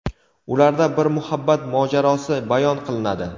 Ularda bir muhabbat mojarosi bayon qilinadi.